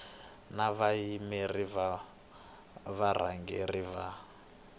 na vayimeri va varhangeri va